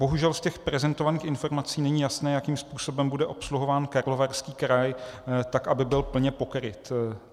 Bohužel z těch prezentovaných informací není jasné, jakým způsobem bude obsluhován Karlovarský kraj, tak aby byl plně pokryt.